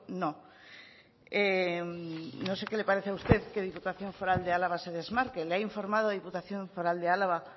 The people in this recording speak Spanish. no no sé qué le parece a usted que diputación foral de álava se desmarque le ha informado diputación foral de álava